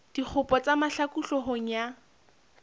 dikgopo tsa mahlaku hloohong ya